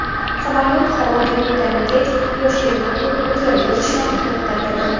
Samolyot havoga ko‘tarilgach, yosh er-xotin o‘zaro yozishmani to‘xtadi.